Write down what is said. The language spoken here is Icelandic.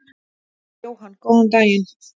Jóhann: Góðan daginn.